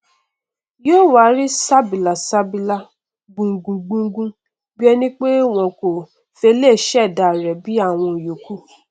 yó wá rí ṣàbìlàsabila gbúgungbùngun bí ẹni pé wọn kò fele ìí ṣẹdá rẹ bí àwọn ìyókù